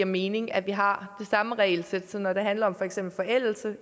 mening at vi har det samme regelsæt så når det handler om for eksempel forældelse